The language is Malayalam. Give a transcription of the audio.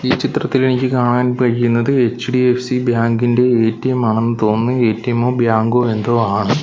ഈ ചിത്രത്തിൽ എനിക്ക് കാണാൻ കഴിയുന്നത് എച്ച്_ഡി_എഫ്_സി ബാങ്ക് ഇൻ്റെ എ_ടി_എം ആണെന്ന് തോന്നുന്നു എ_ടി_എം മോ ബാങ്കോ എന്തോ ആണ്.